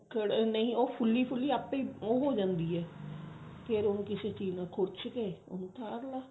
ਨਹੀਂ ਉਹ ਫੁੱਲੀ ਫੁੱਲੀ ਆਪੇ ਉਹ ਹੋ ਜਾਂਦੀ ਹੈ ਫ਼ੇਰ ਉਹਨੂੰ ਕਿਸੇ ਚੀਜ਼ ਨਾਲ ਖੁਰਚ ਕੇ ਫ਼ੇਰ ਉਹਨੂੰ ਉਤਾਰ ਲਾ